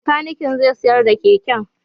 Bakanikin zai sayar da keken.